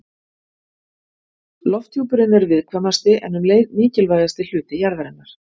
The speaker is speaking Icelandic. Lofthjúpurinn er viðkvæmasti en um leið mikilvægasti hluti jarðarinnar.